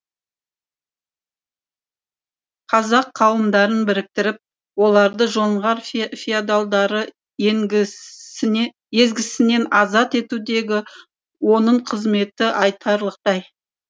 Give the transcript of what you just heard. қазақ қауымдарын біріктіріп оларды жоңғар феодалдары езгісінен азат етудегі оның қызметі айтарлықтай